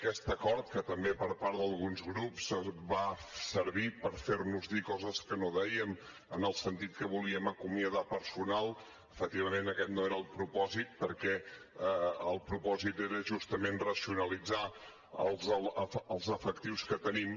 aquest acord que també per part d’alguns grups va servir per fer nos dir coses que no dèiem en el sentit que volíem acomiadar personal efectivament aquest no era el propòsit perquè el propòsit era justament racionalitzar els efectius que tenim